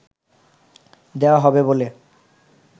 দেওয়া হবে বলে